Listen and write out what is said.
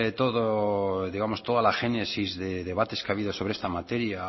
todo digamos toda la génesis de debates que ha habido sobre esta materia